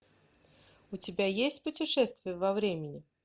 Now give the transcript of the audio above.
у тебя есть путешествие во времени